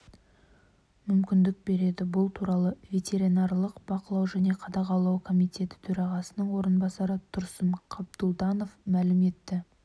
мүмкіндік береді бұл туралы ветеринарлық бақылау және қадағалау комитеті төрағасының орынбасары тұрсын қабдұлданов мәлім етті